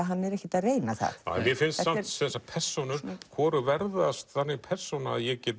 hann er ekkert að reyna það mér finnst þessar persónur hvorug verða þannig persóna ég get